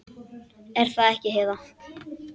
Er það ekki, Heiða?